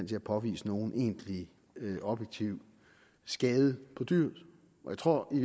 til at påvise nogen egentlig objektiv skade på dyret jeg tror i